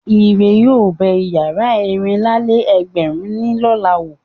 Ire yóò bẹ ìyàrá ẹ̀rìnlá-lé-ẹgbẹ̀rún ní lọ̀la wò.